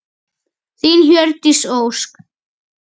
Þín, Hjördís Ósk.